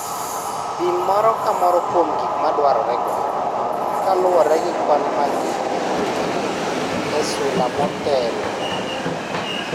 Pim moro ka moro kuom gik madwarorego kaluwore gi kwan mag gik mipuonjori e sula motelo.